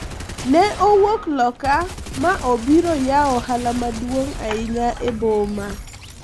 ne owuok loka ma obiro yawo ohala maduong' ahinya e boma